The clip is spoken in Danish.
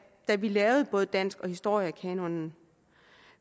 da vi lavede både dansk og historiekanonen